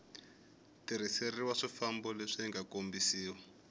tirhiseriwa swifambo leswi nga kombisiwa